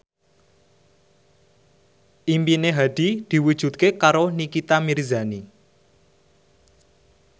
impine Hadi diwujudke karo Nikita Mirzani